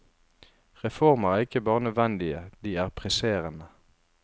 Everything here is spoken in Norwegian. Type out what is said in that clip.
Reformer er ikke bare nødvendige, de er presserende.